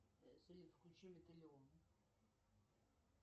салют включи металлион